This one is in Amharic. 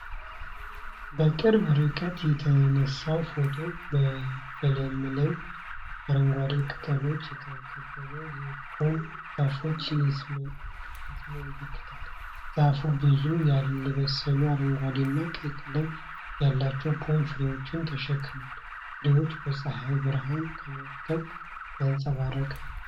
በቅርብ ርቀት የተነሳው ፎቶ በለመለመ አረንጓዴ ቅጠሎች የተከበበ የፖም ዛፍ ያስመለክታል። ዛፉ ብዙ ያልበሰሉ አረንጓዴና ቀይ ቀለም ያላቸው ፖም ፍሬዎችን ተሸክሟል። ፍሬዎቹ በፀሐይ ብርሃን ተመተው ያንጸባርቃሉ።